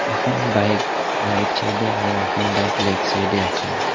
এখন bike right চাইডে আৰু এখন বাইক লেফ্ট চাইডে আছে।